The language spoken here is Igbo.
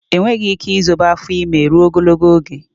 Enweghị ike izobe afọ ime rụo ogologo oge